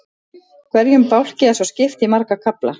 Hverjum bálki er svo skipt í marga kafla.